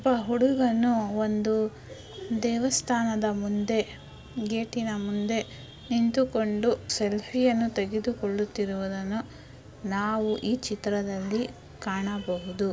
ಒಬ್ಬ ಹುಡುಗನು ಒಂದು ದೇವಸ್ಥಾನದ ಮುಂದೆ ಗೇಟಿನ ಮುಂದೆ ನಿಂತುಕೊಂಡು ಸೆಲ್ಫಿ ಅನ್ನು ತೆಗೆದುಕೊಳ್ಳುತ್ತಿರುವುದನ್ನು ನಾವು ಈ ಚಿತ್ರದಲ್ಲಿ ಕಾಣಬಹುದು.